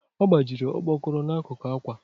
ọ gbajiri okpokoro n'akụkụ ákwà